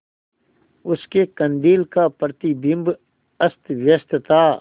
उसके कंदील का प्रतिबिंब अस्तव्यस्त था